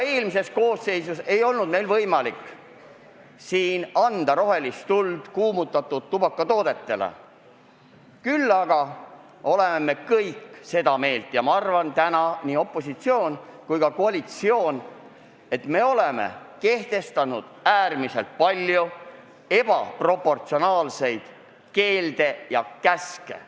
Eelmises koosseisus ei olnud meil võimalik anda rohelist tuld kuumutatud tubakatoodetele, küll aga oleme kehtestanud äärmiselt palju ebaproportsionaalseid keelde ja käske – arvan, et seda meelt on täna nii opositsioon kui ka koalitsioon.